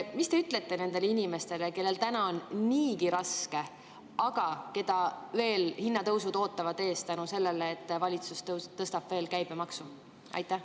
Mis te ütlete nendele inimestele, kellel on niigi raske, aga keda ootavad veel ees hinnatõusud selle tõttu, et valitsus tõstab käibemaksu?